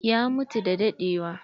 Ya mutu da dadewa.